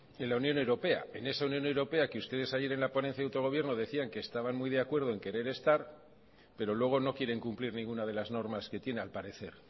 en la unión europea en esa unión europea que ustedes ayer en la ponencia de autogobierno decían que estaban muy de acuerdo en querer estar pero luego no quieren cumplir ninguna de las normas que tiene al parecer